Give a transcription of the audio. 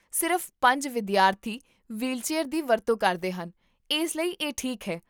ਸਿਰਫ਼ ਪੰਜ ਵਿਦਿਆਰਥੀ ਵ੍ਹੀਲਚੇਅਰ ਦੀ ਵਰਤੋਂ ਕਰਦੇ ਹਨ, ਇਸ ਲਈ ਇਹ ਠੀਕ ਹੈ